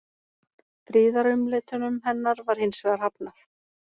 Friðarumleitunum hennar var hins vegar hafnað.